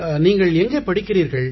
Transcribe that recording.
நீங்கள் எங்கே படிக்கிறீர்கள்